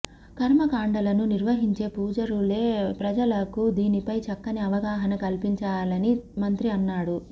కర్మకాండలను నిర్వహించే పూజారులే ప్రజలకు దీనిపై చక్కని అవగాహన కల్పించాలని మంత్రి అన్నాడు